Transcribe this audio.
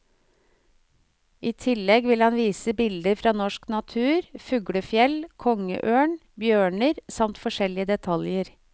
I tillegg vil han vise bilder fra norsk natur, fuglefjell, kongeørn, bjørner, samt forskjellige detaljer.